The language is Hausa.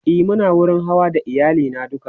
e Muna wurin Hawa da iyali na duka